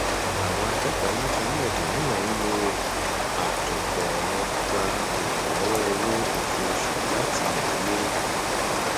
àwọn akẹkọọ láti orílẹèdè mìíràn ń lo àtòpọ ẹrọ gba ìrànlọwọ owó oṣooṣù láti ìdílé